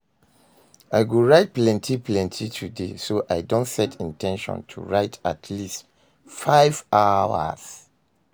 i go write plenty plenty today, so i don set in ten tion to write at least five hours.